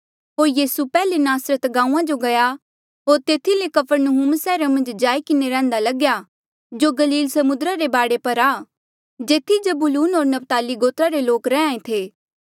होर यीसू पैहले नासरत गांऊँआं जो गया होर तेथी ले कफरनहूम सैहरा मन्झ जाई किन्हें रैहंदा लग्या जो गलील समुद्रा रे बाढे पर आ जेथी जबूलून होर नप्ताली गोत्रा रे लोक रैंहयां ऐें थे